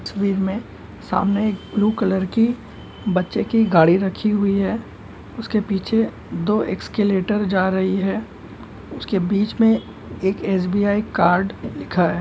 तस्वीर में सामने एक ब्लू कलर की बच्चे की गाड़ी रखी है उसके पीछे दो एस्किलटर जा रही है उसके बीच में एस.बी.आई. कार्ड लिखा है।